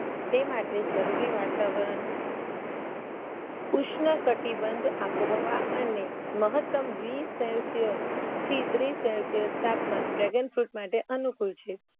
તે માટે જરૂરી વાતાવરણ ઉષ્ણ કટિબંધ આબોહવા અને મહતમ વીસ સેલસ્યસ થી ત્રીસ સેલસ્યસ તાપમાન Dragon Fruit માટે અનુકૂળ છે